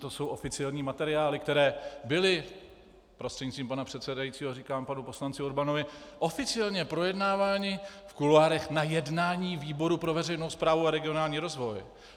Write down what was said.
To jsou oficiální materiály, které byly, prostřednictvím pana předsedajícího říkám panu poslanci Urbanovi, oficiálně projednávány v kuloárech na jednání výboru pro veřejnou správu a regionální rozvoj.